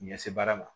Ɲɛse baara ma